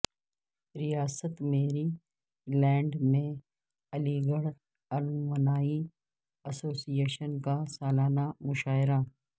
ریاست Maryland میں Aligarh alumni association کا سالانہ مشاعرہ